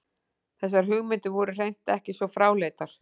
Þessar hugmyndir voru hreint ekki svo fráleitar.